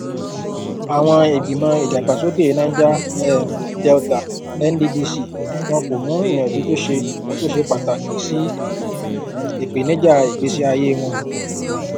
àwọn ìgbìmọ ìdàgbàsókè niger um delta nddc wọn kò mú ìyànjú tó ṣe tó ṣe pàtàkì sí ìpènijà ìgbésí ayé wọn